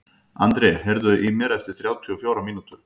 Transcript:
André, heyrðu í mér eftir þrjátíu og fjórar mínútur.